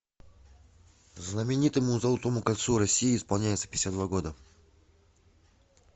знаменитому золотому кольцу россии исполняется пятьдесят два года